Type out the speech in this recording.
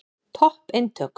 Topp eintök.